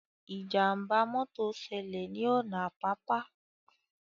Ìjàmbá mọ́tọ̀ ṣẹlẹ̀ ní ọ̀nà Àpápá